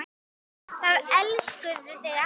Það elskuðu þig allir.